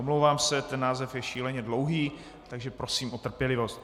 Omlouvám se, ten název je šíleně dlouhý, takže prosím o trpělivost.